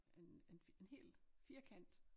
En en en hel firkant